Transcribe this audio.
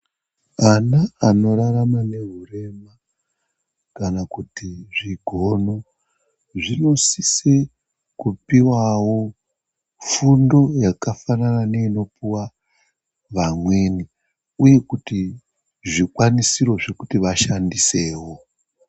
Ana anorarama nehurema kana kuti zvigono zvinosisa kupuwawo fundo yakafanana neinopuwawo vamweni uye kuti zvikwanisiro zvekuti vashandiseo.